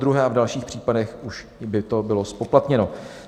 Podruhé a v dalších případech už by to bylo zpoplatněno.